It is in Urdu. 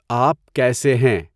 آپ کیسے ہیں؟